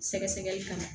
Sɛgɛsɛgɛli kan